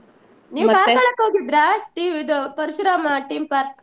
ಹೋಗಿದ್ರಾ ಟಿ~ ಇದು ಪರಶುರಾಮ theme park ?